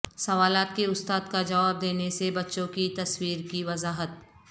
سوالات کے استاد کا جواب دینے سے بچوں کی تصویر کی وضاحت